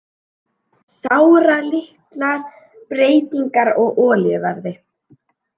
Sáralitlar breytingar á olíuverði